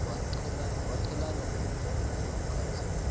waqhelana nomnye umlungukazi